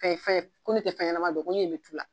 Fɛn fɛn ko ne tɛ fɛnɲɛnama dɔn ko ne ɲɛ bɛ tu la